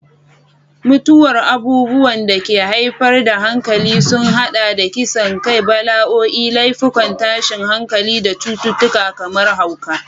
Mutuwar abubuwan da ke haifar da hankali sun haɗa da kisan kai, bala'o'i, laifukan tashin hankali, da cututtuka kamar hauka.